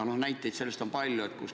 Näiteid on palju.